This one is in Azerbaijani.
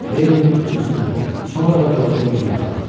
Lenninin ölüsünə, sonra da Georgeun üzünə baxdı.